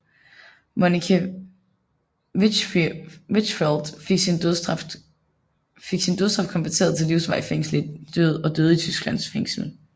Monica Wichfeld fik sin dødsstraf konverteret til livsvarigt fængsel og døde i tysk føngsel